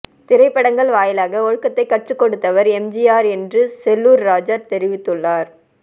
திரைப்படங்கள் வாயிலாக ஒழுக்கத்தை கற்றுக் கொடுத்தவர் எம்ஜிஆர் என்று செல்லூர் ராஜூ தெரிவித்துள்ளார்